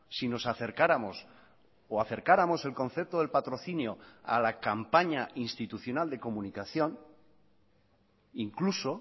si nos acercáramos o acercáramos el concepto del patrocinio a la campaña institucional de comunicación incluso